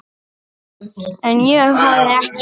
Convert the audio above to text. En ég hafði ekki áhuga.